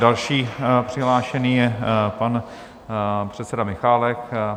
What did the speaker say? Dalším přihlášeným je pan předseda Michálek.